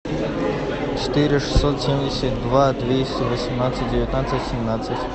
четыре шестьсот семьдесят два двести восемнадцать девятнадцать семнадцать